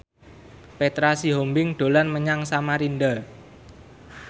Petra Sihombing dolan menyang Samarinda